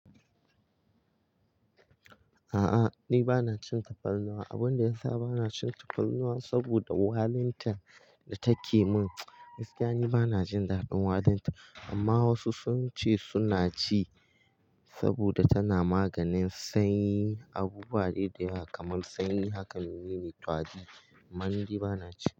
A'a ni bana cin tafarnuwa. Abunda ya sa bana cin tafarnuwa saboda walintar da take mun. Gaskiya ni bana jin daɗin walinta amma wasu sun ce suna ci saboda tana maganin sanyi, abubuwa iri dayawa kamar sanyi. Haka mine ne kwadi man di bana ci.